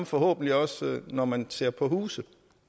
forhåbentlig også når man ser på huse